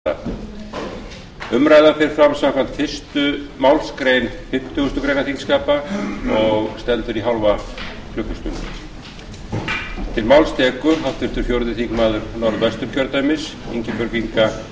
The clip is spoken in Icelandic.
áður en gengið verður til dagskrár fer fram umræða utan dagskrár um vanda sjávarbyggðanna málshefjandi er háttvirtur þingmaður ingibjörg inga guðmundsdóttir hæstvirtur sjávarútvegsráðherra einar k guðfinnsson verður til andsvara umræðan fer fram samkvæmt fyrstu málsgrein fimmtugustu grein